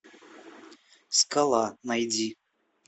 скала найди